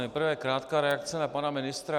Nejprve krátká reakce na pana ministra.